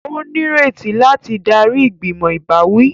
O nireti láti darí igbimọ ìbáwí